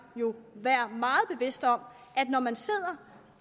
jo være meget bevidst om at når man sidder